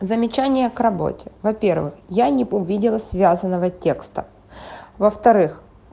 замечание к работе во-первых я не увидела связанного текста во-вторых